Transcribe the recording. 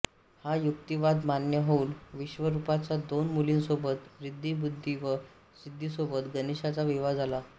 हा युक्तीवाद मान्य होऊन विश्वरूपाच्या दोन मुलींसोबत रिद्धी बुद्धी व सिद्धीसोबत गणेशाचा विवाह झाला